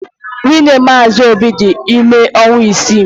Nwunye Mazi obi dị ime ọnwa isii..